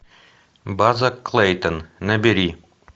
база клейтон набери